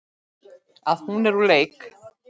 Að hún er úr leik.